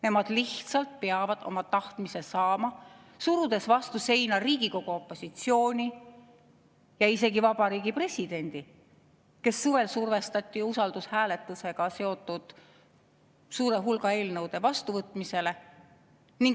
Nemad lihtsalt peavad oma tahtmise saama, surudes vastu seina Riigikogu opositsiooni ja isegi Vabariigi Presidendi, keda suvel survestati usaldushääletusega seotud suure hulga eelnõude vastuvõtmisele.